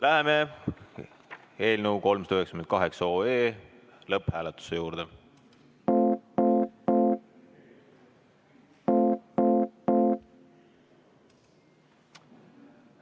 Läheme nüüd eelnõu 398 lõpphääletuse juurde.